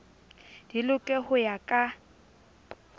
di loke ho ya ka